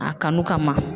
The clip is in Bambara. A kanu kama